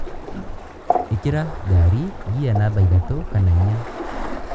ĩkĩra ngari ngia namba ithatũ kana inya.